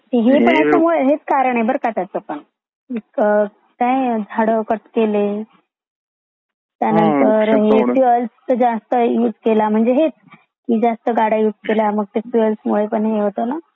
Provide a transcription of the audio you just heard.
हेच कारण आहे बाराका त्याच पण काय म्हणजे झाड कट केले त्या नंतर म्हणजे फ्युएल जस्त असे केला म्हणजे हेच गाड्या जास्त युसे केला त्यानंतर फ्युएल मुळे ते हे होते ना .